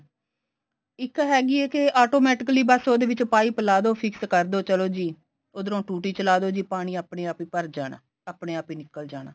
ਇੱਕ ਹੈਗੀ ਐ automatically ਬੱਸ ਉਹਦੇ ਵਿੱਚ pipe ਲਾ ਦੋ fix ਕਰਦੋ ਚਲੋ ਜੀ ਉਧਰੋ ਟੂਟੀ ਚਲਾਦੋ ਜੀ ਪਾਣੀ ਆਪਣੇ ਆਪ ਹੀ ਭਰ ਜਾਣਾ ਆਪਣੇ ਆਪ ਹੀ ਨਿਕਲ ਜਾਣਾ